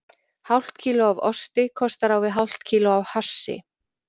Hálft kíló af osti kostar á við hálft kíló af hassi.